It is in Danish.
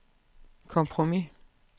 kompromis